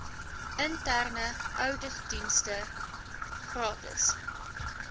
interne ouditdienste gratis